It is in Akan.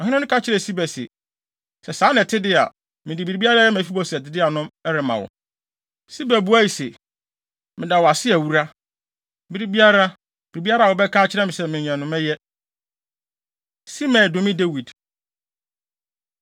Ɔhene no ka kyerɛɛ Siba se, “Sɛ saa na ɛte de a, mede biribiara a ɛyɛ Mefiboset dea no rema wo.” Siba buae se, “Meda wo ase awura. Bere biara, biribiara a wobɛka akyerɛ me sɛ menyɛ no, mɛyɛ.” Simei Dome Dawid